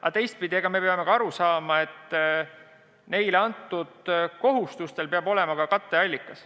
Aga teistpidi peame aru saama, et omavalitsustele pandud kohustustel peab olema ka katteallikas.